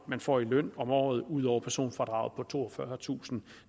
man får i løn om året ud over personfradraget på toogfyrretusinde